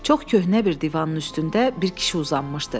Çox köhnə bir divanın üstündə bir kişi uzanmışdı.